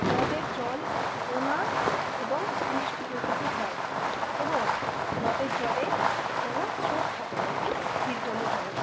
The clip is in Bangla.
হ্রদের জল নোনা এবং মিষ্টি প্রকৃতির হয়। এবং হ্রদের জলে কোন স্রোত থাকে না এটি স্থির জলের জলাশয় ।